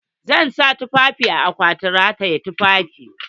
Zan sa tufafin a akwatin rataye tufafi.